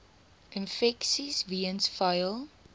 infeksies weens vuil